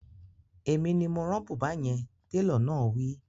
Èmi ni mo rán bùbá yẹn, Télọ̀ náà wí